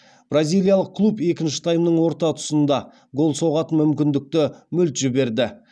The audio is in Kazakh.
бразилиялық клуб екінші таймның орта тұсында гол соғатын мүмкіндікті мүлт жіберді